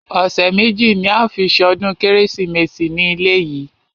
Ọ̀sẹ̀ méjì ní a ó fi ṣọdún kérésìmesì ní ilé yìí.